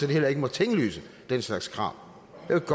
heller ikke må tinglyse den slags krav